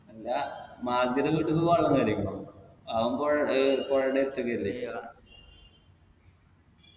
ഡാ മാർജിന്റെ വീട്ടിക്ക് വെള്ളം കേറീക്കുന്നൊ അവൻ പൊഴേ ഏർ പൊഴേടെ അടുത്തേക്കല്ലേ